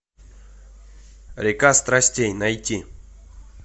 река страстей найти